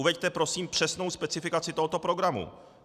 Uveďte prosím přesnou specifikaci tohoto programu.